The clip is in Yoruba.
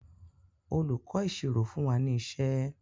olùkó ìṣirò fún wá ní iṣé.